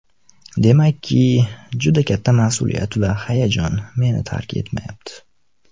Demakki, juda katta mas’uliyat va hayajon meni tark etmayapti.